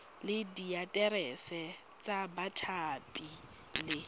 le diaterese tsa bathapi le